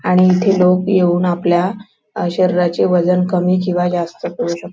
आणि इथे लोक येऊन आपल्या अ शरीराचे वजन कमी केव्हा जास्त करू शकता--